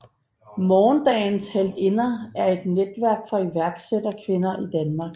Morgendagens Heltinder er et netværk for iværksætterkvinder i Danmark